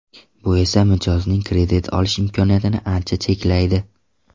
Bu esa mijozning kredit olish imkoniyatini ancha cheklaydi.